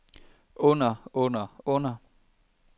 under under under